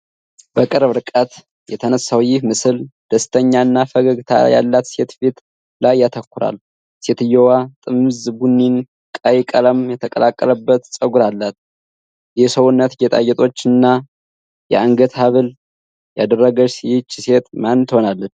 በቅርብ ርቀት የተነሳው ይህ ምስል ደስተኛ እና ፈገግታ ያላት ሴት ፊት ላይ ያተኩራል። ሴትየዋ ጥምዝ፣ ቡኒና ቀይ ቀለም የተቀላቀለበት ጸጉር አላት፡፡ የሰውነት ጌጣጌጦችና የአንገት ሐብል ያደረገችው ይህች ሴት ማን ትሆናለች?